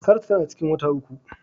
Saratu tana da ciki wata uku.